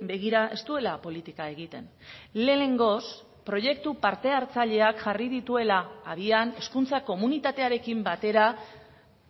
begira ez duela politika egiten lehenengoz proiektu partehartzaileak jarri dituela abian hezkuntza komunitatearekin batera